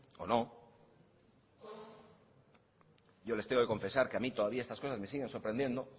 o no yo les tengo que confesar que a mí todavía estas cosas me siguen sorprendiendo